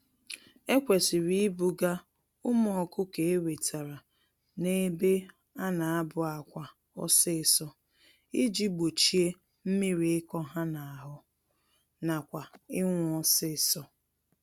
Ekwesịrị ibuga ụmụ ọkụkọ ewetara n'ebe ana abụ-àkwà ọsịsọ, iji gbochie mmírí ịkọ ha n'ahụ, nakwa ịnwụ ọsịsọ.